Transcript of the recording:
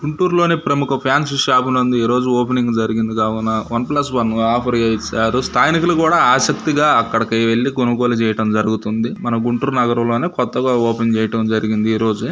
గుంటూరు లోనే ప్రముఖ fancy shop నందు ఓపెనింగు జరిగింది కావున వన్ ప్లస్ వన్ ఆఫర్ ఇచ్చారు స్థానికులు కూడా ఆసక్తిగా అక్కడకు వెళ్లి కొనుగోలు చేయడం జరుగుతుంది మన గుంటూరు నగరంలో కొత్తగా ఓపెనింగ్ చేయడం జరిగింది ఈ రోజే.